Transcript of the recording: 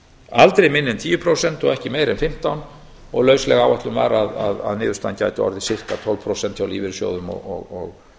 aldrei minna en tíu prósent og ekki meira en fimmtán prósent og lausleg áætlun var að niðurstaðan gæti orðið giska tólf prósent hjá lífeyrissjóðum og